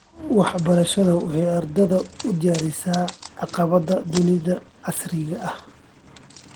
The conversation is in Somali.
Waxbarashadu waxay ardayda u diyaarisaa caqabadaha dunida casriga ah.